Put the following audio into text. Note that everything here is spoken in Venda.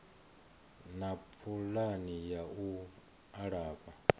na pulani ya u alafha